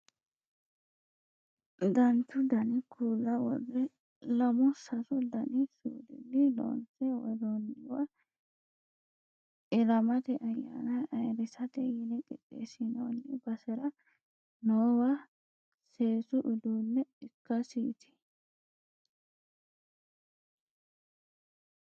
danchu dani kuula worrre lamu sasu dani suudinni loonse worroonniwa ilamate ayyaana ayeerrisate yine qixxessinoonni basera noowa seesu uduunne ikkasiiti